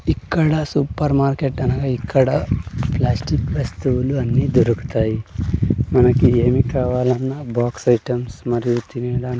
ఇక్కడ super market అనగా ఇక్కడ ప్లాస్టిక్ వస్తువులు అన్నీ దొరుకుతాయి మనకి ఏమి కావాలన్నా బాక్స్ ఐటమ్స్ మరియు తినేల.